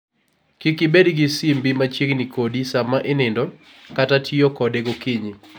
Kik ibed gi simbi machiegni kodi sama inindo, kata tiyo kode gokinyi.